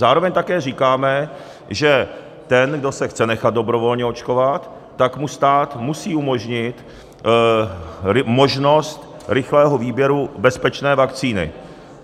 Zároveň také říkáme, že ten, kdo se chce nechat dobrovolně očkovat, tak mu stát musí umožnit možnost rychlého výběru bezpečné vakcíny.